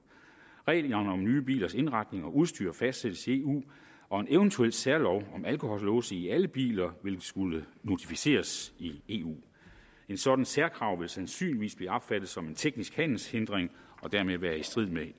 reglerne om nye bilers indretning og udstyr fastsættes i eu og en eventuel særlov om alkohollåse i alle biler vil skulle notificeres i eu et sådant særkrav vil sandsynligvis blive opfattet som en teknisk handelshindring og dermed være i strid med